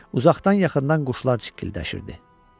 Uzaqdan yaxından quşlar cikkildəşirdi.